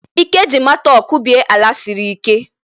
Ike ji mattok kubie ala siri ike.